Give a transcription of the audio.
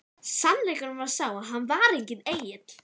Sannleikurinn var sá að hann var enginn engill!